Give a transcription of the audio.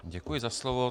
Děkuji za slovo.